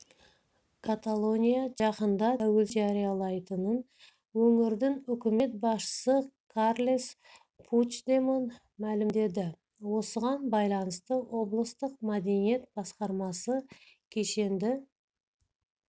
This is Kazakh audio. каталония жақында тәуелсіздігін жариялайтынын өңірдің үкімет басшысы карлес пучдемон мәлімдеді осыған байланысты облыстық мәдениет басқармасы кешенді